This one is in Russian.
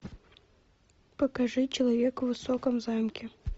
покажи человек в высоком замке